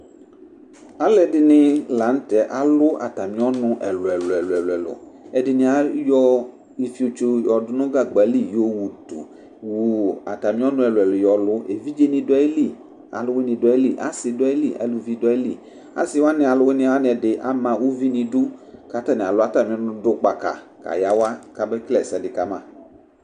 Alu ɛdɩnɩ lanu tɛ alu atami ɔnʋ ni ɛlʋ ɛlʋ ɛlʋ ɛlʋ Ɛdɩnɩ ayɔ ifiotso yɔdʋ nʋ gagba li yowutu atami ɛlʋ ɛkʋ yɔlu Evidzeni du ayili, aluwini du ayili, asini du ayili aluvini du ayili Asi wani aluwini ɛdɩ ama uvi nʋ idu, kʋ atani alu atami ɔnʋ, du gbaka kayawa kabe kele ɛsɛdɩ kama